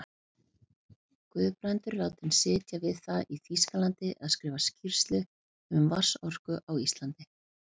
Guðbrandur látinn sitja við það í Þýskalandi að skrifa skýrslu um vatnsorku á Íslandi.